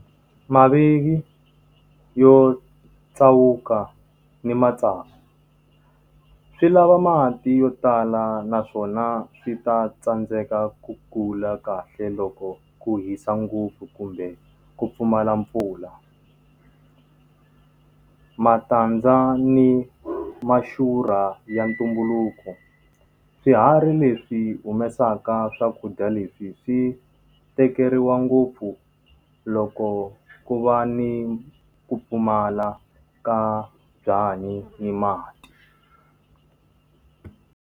Mavivi yo tsawuka ni matsavu. Swi lava mati yo tala naswona swi ta tsandzeka ku kula kahle loko ku hisa ngopfu kumbe ku pfumala mpfula. Matandza ni maxurha ya ntumbuluko, swiharhi leswi humesaka swakudya leswi swi tekeriwa ngopfu loko ku va ni ku pfumala ka byanyi ni mati.